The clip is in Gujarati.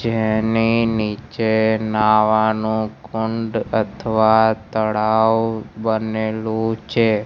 જેની નીચે નાવાનુ કુંડ અથવા તડાવ બનેલુ છે.